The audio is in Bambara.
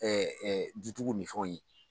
dutigiw ni fɛnw ye.